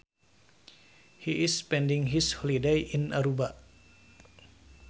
He is spending his holiday in Aruba